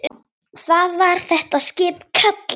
Hvað var það skip kallað?